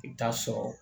I bɛ taa sɔrɔ